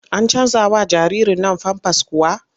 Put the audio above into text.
An canjawa jaririrn nan famfas kuwa?